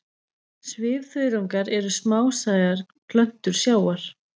Svifþörungar eru smásæjar plöntur sjávar.